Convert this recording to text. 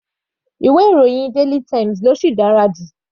Ìwé ìròyìn daily times ló sì dára jù.